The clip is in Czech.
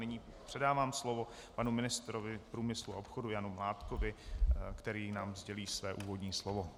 Nyní předávám slovo panu ministrovi průmyslu a obchodu Janu Mládkovi, který nám sdělí své úvodní slovo.